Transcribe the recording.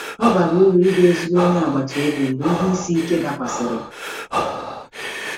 Ọ bara uru ịbụ ezigbo onye agbata obi mgbe ihe isi ike dakwasịrị.